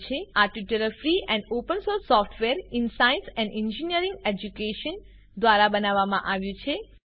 આ tutorial free and open source software in science and engineering education દ્વારા બનાવવામાં આવ્યું છે